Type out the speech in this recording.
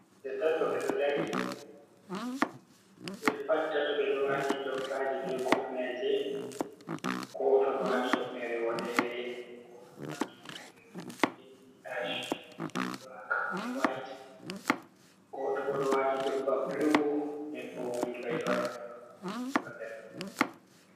himɓe tato ɓe dari ɓe pat tatto ɓe ɗo wati jompaji be kofneje, goto ɗo wati hufnere woɗere goto ɗo wati hufnere ɗo jilli ash be blak be white, goto bo ɗo wati jompa blu nden bo wodi bairo ha jiba mako jiba ɓernde.